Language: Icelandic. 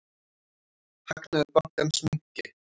Hagnaður bankans minnki.